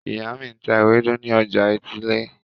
Ìyá mi ń ta ewédú ní ọjà etílé.